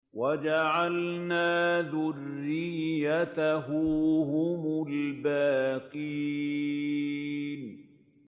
وَجَعَلْنَا ذُرِّيَّتَهُ هُمُ الْبَاقِينَ